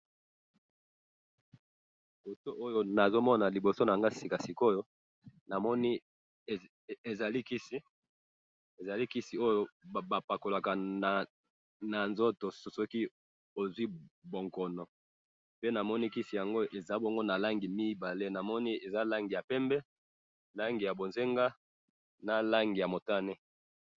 Photo nazo mona liboso nanga sika sikoyo, namoni ezali kisi, ezali kisi oyo ba pakolaka na nzoto soki ozwi bonkono, pe namoni kisi yango eza bongo na langi mibale, namoni eza langi ya pembe, langi ya bozenga na langi ya motane